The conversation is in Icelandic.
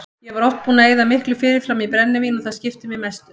Ég var oft búinn að eyða miklu fyrirfram í brennivín og það skipti mig mestu.